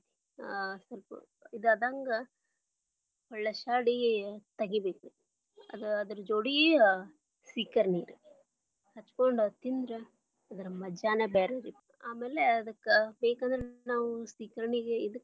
ಹ ಸ್ವಲ್ಪ ಇದು ಆದಂಗಾ ಹೊಳ್ಶ್ಯಾಡಿ ತಗಿಬೇಕರೀ. ಅದರ ಜೋಡಿ ಸೀಕರ್ಣಿ ರೀ ಹಚ್ಕೊಂಡ ತಿಂದ್ರ ಅದ್ರ ಮಜಾನೇ ಬ್ಯಾರೆ ರೀ ಆಮ್ಯಾಲ ಅದಕ್ಕ ಬೇಕಂದ್ರ ನಾವು ಸೀಕರ್ಣಿಗ ಇದಕ್ಕ.